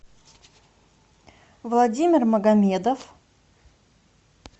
владимир магомедов